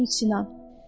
Onlar üsyan.